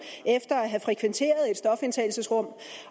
efter at have frekventeret et stofindtagelsesrum